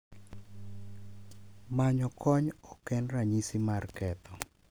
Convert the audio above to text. Manyo kony ok en ranyisi mar ketho